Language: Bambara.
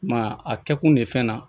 I m'a ye a kɛ kun de ye fɛn na